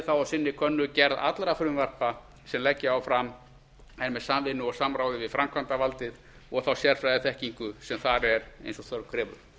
þá á sinni könnu gerð allra frumvarpa sem leggja á fram en með samvinnu og samráði við framkvæmdarvaldið og þá sérfræðiþekkingu sem þar er eins og þörf krefur